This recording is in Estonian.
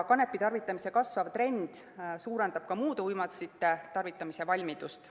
Kanepi tarvitamise kasvav trend suurendab ka muude uimastite tarvitamise valmidust.